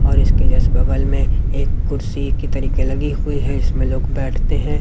और इसके जस्ट बगल में एक कुर्सी की तरीके लगी हुई है इसमे लोग बैठते हैं।